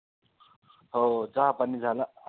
हो चहापाणी झाला.